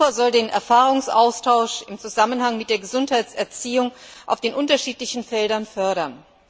Europa soll den Erfahrungsaustausch in Zusammenhang mit der Gesundheitserziehung in den unterschiedlichen Bereichen fördern.